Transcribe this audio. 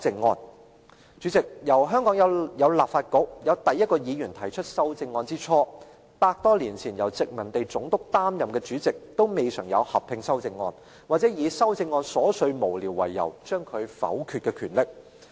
代理主席，由香港有立法局，有第一位議員提出修正案之初，百多年前由殖民地總督擔任的主席也未嘗有合併修正案，或以修正案瑣屑無聊為由而將其否決的權力。